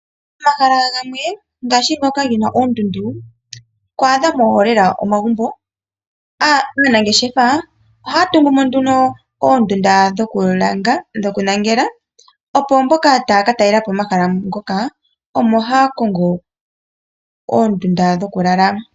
Momahala gamwe ngaashi ngoka gena oondundu ihamu adhika lela omagumbo. Aanangeshefa ohaya tungu mo nduno oondunda dhoku lala, opo mboka taya ka talela po omahala ngoka omo haya kongo oondunda dhoku lala.